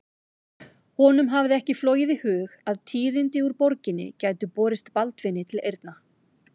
Honum hafði ekki flogið í hug að tíðindi úr borginni gætu borist Baldvini til eyrna.